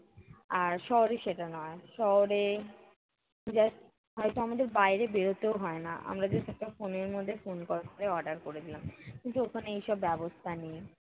আর শহরে সেটা নয়, শহরে just হয়ত আমাদের বাইরে বেড়োতেও হয়না, আমরা just একটা phone এর মধ্যে phone call করে order করে দিলাম। কিন্তু ওখানে এইসব ব্যবস্থা নেই।